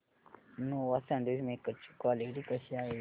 Nova sandwich maker ची quality कशी आहे